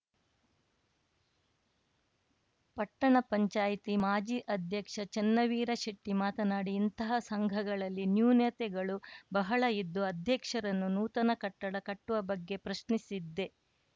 ಪಟ್ಟಣ ಪಂಚಾಯ್ತಿ ಮಾಜಿ ಅಧ್ಯಕ್ಷ ಚೆನ್ನವೀರ ಶೆಟ್ಟಿಮಾತನಾಡಿ ಇಂತಹ ಸಂಘಗಳಲ್ಲಿ ನೂನ್ಯತೆಗಳು ಬಹಳ ಇದ್ದು ಅಧ್ಯಕ್ಷರನ್ನು ನೂತನ ಕಟ್ಟಡ ಕಟ್ಟುವ ಬಗ್ಗೆ ಪ್ರಶ್ನಿಸಿದ್ದೆ